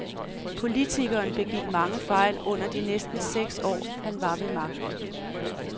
Politikeren begik mange fejl under de næsten seks år, han var ved magten.